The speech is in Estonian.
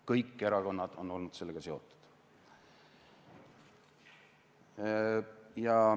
Kõik erakonnad on olnud sellega seotud.